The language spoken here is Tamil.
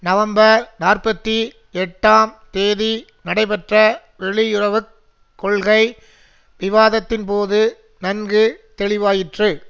நவம்பர் நாற்பத்தி எட்டாம் தேதி நடைபெற்ற வெளியுறவு கொள்கை விவாதத்தின்போது நன்கு தெளிவாயிற்று